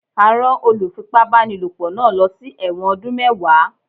A rán olùfipá-báni lòpọ̀ náà lọ sí ẹ̀wọ̀n ọdún mẹ́wàá.